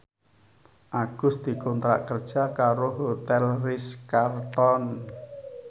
Agus dikontrak kerja karo Hotel Ritz Carlton